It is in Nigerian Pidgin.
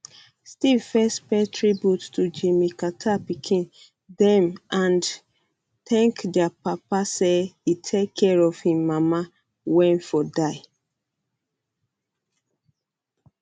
steve first pay tribute to jimmy um carter pikin dem and thank dia papa say e take care of im um mama wen ford die